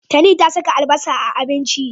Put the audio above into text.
Tani ta saka albasa a abinci.